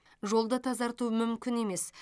жолды тазарту мүмкін емес